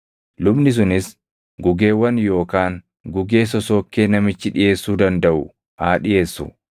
Lubni sunis gugeewwan yookaan gugee sosookkee namichi dhiʼeessuu dandaʼu haa dhiʼeessu;